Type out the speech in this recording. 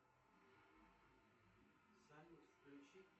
салют включи